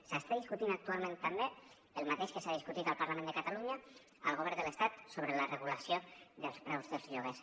s’està discutint actualment també el mateix que s’ha discutit al parlament de catalunya al govern de l’estat sobre la regulació dels preus dels lloguers